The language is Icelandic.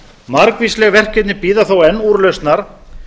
margvísleg verkefni bíða þó enn úrlausnar